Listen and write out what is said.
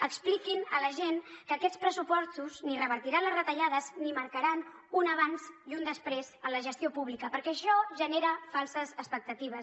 expliquin a la gent que aquests pressupostos ni revertiran les retallades ni marcaran un abans i un després en la gestió pública perquè això genera falses expectatives